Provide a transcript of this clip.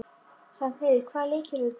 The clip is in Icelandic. Hrafnheiður, hvaða leikir eru í kvöld?